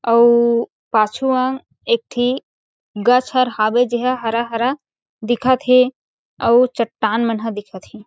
अउ पाछु अंग एकठी गछ हर हवे जे ह हरा हरा दिखत हे आउ चटान मन म दिखत हैं।